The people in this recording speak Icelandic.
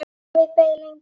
Davíð beið lengi.